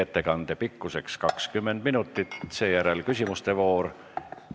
Ettekande pikkus on kuni 20 minutit, seejärel on ette nähtud küsimuste voor.